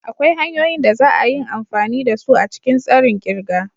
Akwai hanyoyin da za a yin amfani da su a cikin tsarin kirga.